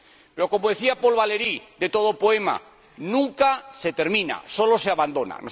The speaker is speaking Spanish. Pero, como decía Paul Valéry de todo poema, nunca se termina, solo se abandona.